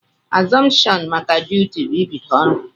Azuption maka duti bu ibido ọrụ.